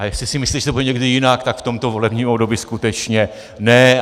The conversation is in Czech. A jestli si myslí, že to bude někdy jinak, tak v tomto volebním období skutečně ne.